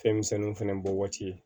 Fɛn misɛnninw fɛnɛ bɔ waati